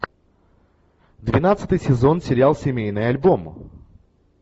двенадцатый сезон сериал семейный альбом